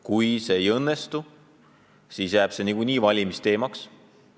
Kui see ei õnnestu, siis jääb see valimiste teemaks.